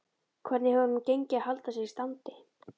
Hvernig hefur honum gengið að halda sér í standi?